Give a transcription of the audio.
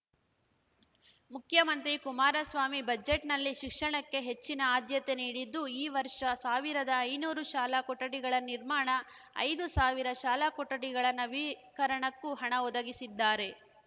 ಮುಖ್ಯಮಂತ್ರಿ ಕುಮಾರಸ್ವಾಮಿ ಬಜೆಟ್‌ನಲ್ಲಿ ಶಿಕ್ಷಣಕ್ಕೆ ಹೆಚ್ಚಿನ ಆದ್ಯತೆ ನೀಡಿದ್ದು ಈ ವರ್ಷ ಸಾವಿರದ ಐನೂರು ಶಾಲಾ ಕೊಠಡಿಗಳ ನಿರ್ಮಾಣ ಐದು ಸಾವಿರ ಶಾಲಾ ಕೊಠಡಿಗಳ ನವೀಕರಣಕ್ಕೂ ಹಣ ಒದಗಿಸಿದ್ದಾರೆ